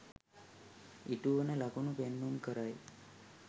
ඉටුවන ලකුණු පෙන්නුම් කරයි